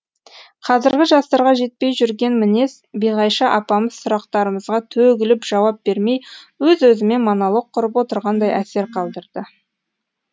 қазіргі жастарға жетпей жүрген мінез биғайша апамыз сұрақтарымызға төгіліп жауап бермей өз өзімен монолог құрып отырғандай әсер қалдырды